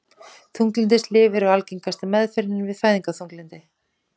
Þunglyndislyf eru algengasta meðferðin við fæðingarþunglyndi.